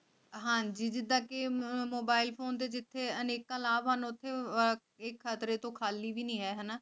ਹਾਂ ਜੀ ਦੀ ਤਾਂ ਕਿ mobile phone ਦੇ ਦਿੱਤੀ ਅਨੇਕਾਂ ਲਾਭ ਹਨ ਉਥੇ ਹੀ ਖਤਰੇ ਤੋਂ ਖਾਲੀ ਨਹੀਂ ਐਲਾਨੀਆਂ ਪਹਿਲਾਂ ਡਾ